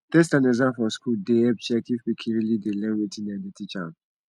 test and exam for school dey help check if pikin really dey learn wetin dem dey teach am